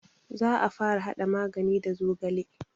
Za a fara haɗa magani da zogale